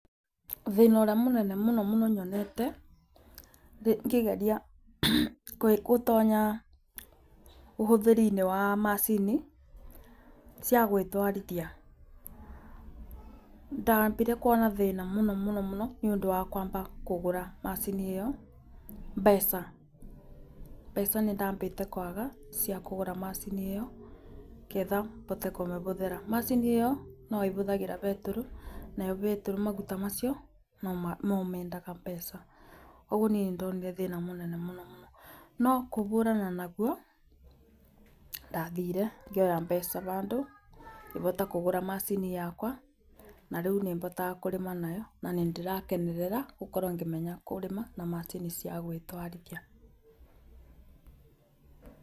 Thĩna ũrĩa mũnene mũno mũno nyonete ngĩgeria gũtonya ũhũthĩri-inĩ wa macini cia gwĩtwarithia, ndambire kuona thĩna mũno nĩ ũndũ wa kũgũra macini ĩyo. Mbeca, mbeca nĩ ndambĩte kũaga cia kũgũra macini ĩyo, nĩgetha bote kũmĩhũthĩra. Macini ĩyo no ĩhũthagĩra betũrũ, nayo betũrũ maguta macio no mendaga mbeca. Ũguo niĩ nĩ ndonire thĩna mũnene mũno mũno. No kũbũrana naguo ndathire ngĩoya mbeca bandũ, ngĩhota kũgũra macini yakwa, na rĩu nĩ botaga kũrĩma nayo na nĩ ndĩrakenerera gũkorwo ngĩmenya kũrĩma na macini cia gwĩtwarithia.